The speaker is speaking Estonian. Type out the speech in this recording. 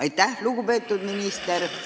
Aitäh, lugupeetud minister!